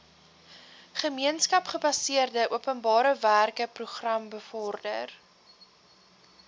gemeenskapsgebaseerde openbarewerkeprogram bevorder